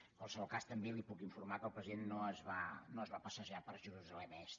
en qualsevol cas també la puc informar que el president no es va passejar per jerusalem est